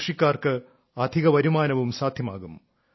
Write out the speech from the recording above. കൃഷിക്കാർക്ക് അധികവരുമാനവും സാധ്യമാകും